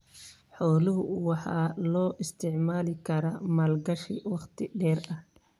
Xoolaha waxa loo isticmaali karaa maalgashi wakhti dheer ah.